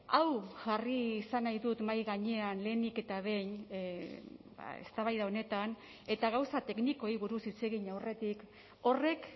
hau jarri izan nahi dut mahai gainean lehenik eta behin eztabaida honetan eta gauza teknikoei buruz hitz egin aurretik horrek